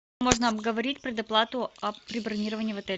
можно обговорить предоплату при бронировании в отеле